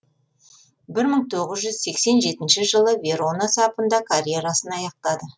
бір мың тоғыз жүз сексен жетінші жылы верона сапында карьерасын аяқтады